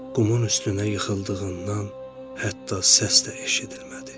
Qumun üstünə yıxıldığından, hətta səs də eşidilmədi.